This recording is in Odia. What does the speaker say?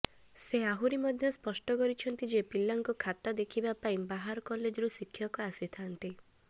ସେ ଆହୁରି ମଧ୍ୟ ସ୍ପଷ୍ଟ କରିଛନ୍ତି ଯେ ପିଲାଙ୍କ ଖାତା ଦେଖିବା ପାଇଁ ବାହାର କଲେଜରୁ ଶିକ୍ଷକ ଆସିଥାନ୍ତି